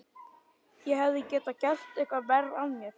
Ég hefði getað gert eitthvað verra af mér.